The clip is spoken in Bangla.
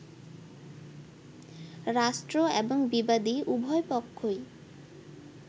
রাষ্ট্র এবং বিবাদী, উভয় পক্ষই